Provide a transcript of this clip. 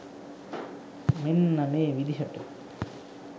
මෙන්න මේ විදිහට.